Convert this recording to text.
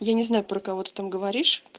я не знаю про кого ты там говоришь